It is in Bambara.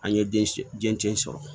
An ye den den sɔrɔ